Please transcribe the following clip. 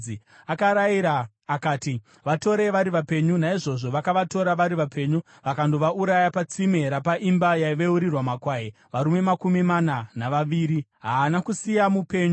Akarayira akati, “Vatorei vari vapenyu!” Naizvozvo vakavatora vari vapenyu vakandovauraya patsime rapaimba yaiveurirwa makwai, varume makumi mana navaviri. Haana kusiya mupenyu.